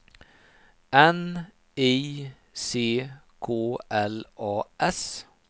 N I C K L A S